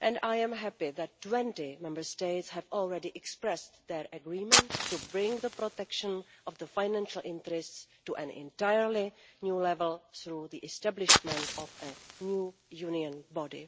and I am happy that 20 Member States have already expressed their agreement to bring the protection of financial interests to an entirely new level through the establishment of a new Union body.